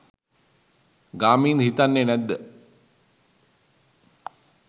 ගාමින්ද හිතන්නෙ නැද්ද